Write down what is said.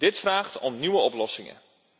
Dit vraagt om nieuwe oplossingen.